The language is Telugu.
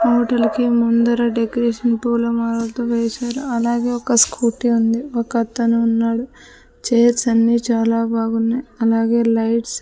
హోటల్ కి ముందర డెకరేషన్ పూలమాలలతో వేశారు అలాగే ఒక స్కూటీ ఉంది ఒక అతను ఉన్నాడు చైర్స్ అన్ని చాలా బాగున్నాయ్ అలాగే లైట్స్ --